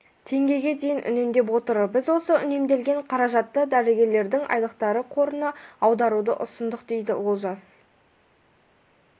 теңгеге дейін үнемдеп отыр біз осы үнемделген қаражатты дәрігерлердің айлықтары қорына аударуды ұсындық дейді олжас